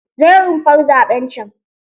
Je rumfar zaɓen can!